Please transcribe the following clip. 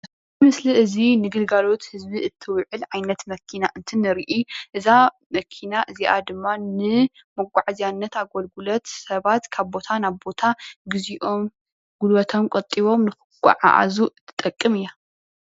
እዚ ምስሊ እዚ ንግልጋሎት ህዝቢ እትውዕል ዓይነት መኪና እንትንርኢ እዛ መኪና እዚኣ ድማ ንመጓዓዝያነት ኣገልግሎት ሰባት ካብ ቦታ ናብ ቦታ ግዚኦም ጉልበቶም ቆጢቦም ንክጎዓዓዙ እትጠቅም እያ።